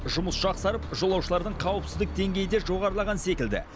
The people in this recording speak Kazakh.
жұмыс жақсарып жолаушылардың қауіпсіздік деңгейі де жоғарылаған секілді